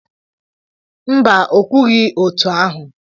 Mba, o kwughị otú ahụ